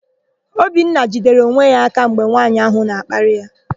Obinna jidere onwe ya aka mgbe nwaanyị áhụ̀ na-akparị ya.